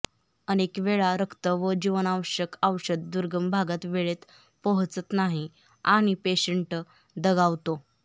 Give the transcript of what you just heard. अनेकवेळा रक्त व जीवनावश्यक औषध दुर्गम भागात वेळेत पोहचत नाही आणि पेशंट दगावतो